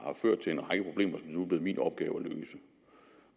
ført til en række problemer som nu er blevet min opgave at løse